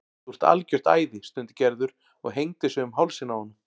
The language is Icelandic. Þú ert algjört æði stundi Gerður og hengdi sig um hálsinn á honum.